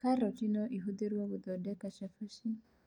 Karati no ĩhũthĩrwo gũthondeka cabaci